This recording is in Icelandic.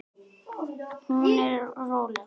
Hún er róleg.